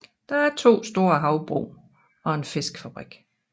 Der er to store havbrug og en fiskefabrik